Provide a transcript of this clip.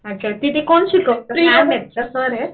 अच्छा. तिथे कोण शिकवतं? मॅम आहेत का सर आहेत?